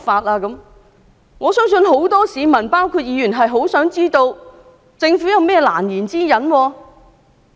我相信議員和很多市民都想知道政府有何難言之隱。